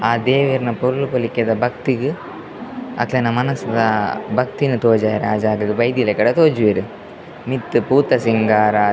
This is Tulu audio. ಆ ದೇವೆರ್ನ ಪೊರ್ಲು ಪೊಲಿಕೆದ ಭಕ್ತಿಗ್ ಅಕ್ಲೆನ ಮನಸ್ದ ಭಕ್ತಿನ್ ತೋಜಾರೆ ಆ ಜಾಗಾಗ್ ಬೈದಿಲಕಡೆ ತೋಜುವೆರ್ ಮಿತ್ತ್ ಪೂತ ಸಿಂಗಾರ --